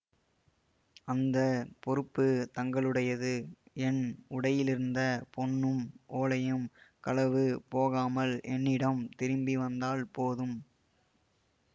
அந்த பொறுப்பு தங்களுடையது என் உடையிலிருந்த பொன்னும் ஓலையும் களவு போகாமல் என்னிடம் திரும்பி வந்தால் போதும்